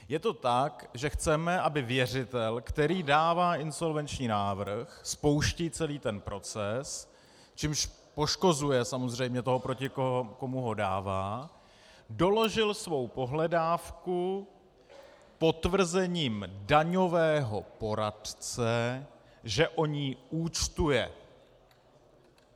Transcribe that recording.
Je to tak, že chceme, aby věřitel, který dává insolvenční návrh, spouští celý ten proces, čímž poškozuje samozřejmě toho, proti komu ho dává, doložil svou pohledávku potvrzením daňového poradce, že on ji účtuje.